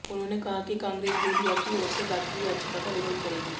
उन्होंने कहा कि कांग्रेस भी रिया की ओर से दाखिल याचिका का विरोध करेगी